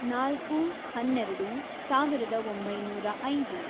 ನಾಲ್ಕು, ಹನ್ನೆರೆಡು, ಸಾವಿರದ ಒಂಬೈನೂರ ಐದು